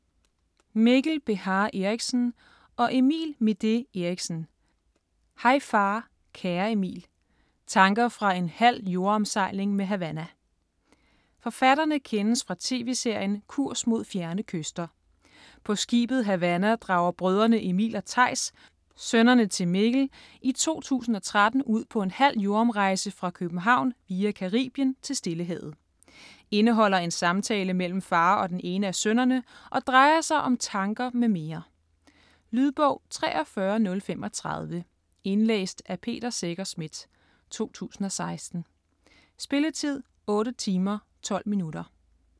Beha Erichsen, Mikkel og Midé Erichsen, Emil: Hej far kære Emil: tanker fra en halv jordomsejling med Havana Forfatterne kendes fra tv-serien "Kurs Mod Fjerne Kyster". På skibet Havanna drager brødrene Emil og Theis, sønnerne til Mikkel, i 2013 ud på en halv jordomrejse fra København via Caribien til Stillehavet. Indeholder en samtale mellem far og den ene af sønnerne, og drejer sig om tanker m.m. Lydbog 43035 Indlæst af Peter Secher Schmidt, 2016. Spilletid: 8 timer, 12 minutter.